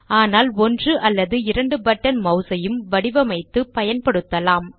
ஆனால் ஒன்று அல்லது இரண்டு பட்டன் சொடுக்கியையும் வடிவமைத்து பயன்படுத்தலாம்